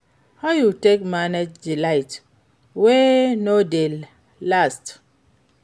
How you take manage di light wey no dey last?